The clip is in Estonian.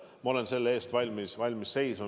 Ma olen selle eest valmis seisma.